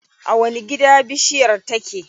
A wani gida bishiyar take?